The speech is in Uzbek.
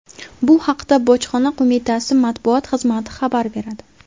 Bu haqda bojxona qo‘mitasi matbuot xizmati xabar beradi .